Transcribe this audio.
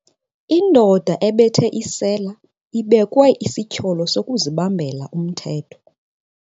Indoda ebethe isela ibekwe isityholo sokuzibambela umthetho.